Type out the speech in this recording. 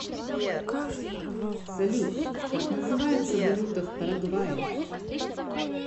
салют как называется валюта в парагвае